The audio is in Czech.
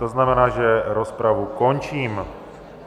To znamená, že rozpravu končím.